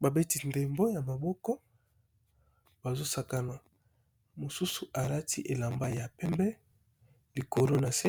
Ba beti ndembo ya maboko bazo sakana mosusu alati elamba ya pembe likolo nase